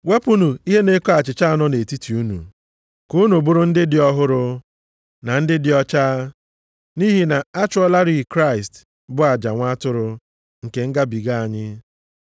Wepụnụ ihe nʼeko achịcha a nọ nʼetiti unu, ka unu bụrụ ndị dị ọhụrụ, na ndị dị ọcha. Nʼihi na a chụọlarị Kraịst, bụ aja nwa atụrụ, nke Ngabiga anyị.